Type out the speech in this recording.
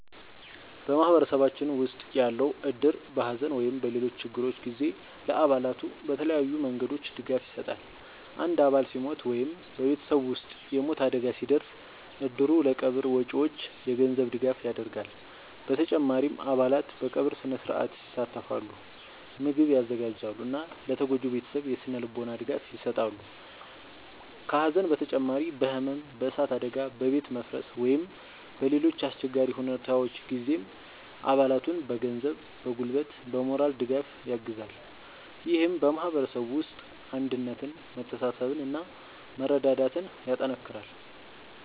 በማህበረሰባችን ውስጥ ያለው እድር በሐዘን ወይም በሌሎች ችግሮች ጊዜ ለአባላቱ በተለያዩ መንገዶች ድጋፍ ይሰጣል። አንድ አባል ሲሞት ወይም በቤተሰቡ ውስጥ የሞት አደጋ ሲደርስ፣ እድሩ ለቀብር ወጪዎች የገንዘብ ድጋፍ ያደርጋል። በተጨማሪም አባላት በቀብር ሥነ-ሥርዓት ይሳተፋሉ፣ ምግብ ያዘጋጃሉ እና ለተጎጂው ቤተሰብ የሥነ-ልቦና ድጋፍ ይሰጣሉ። ከሐዘን በተጨማሪ በሕመም፣ በእሳት አደጋ፣ በቤት መፍረስ ወይም በሌሎች አስቸጋሪ ሁኔታዎች ጊዜም አባላቱን በገንዘብ፣ በጉልበት እና በሞራል ድጋፍ ያግዛል። ይህም በማህበረሰቡ ውስጥ አንድነትን፣ መተሳሰብን እና መረዳዳትን ያጠናክራል።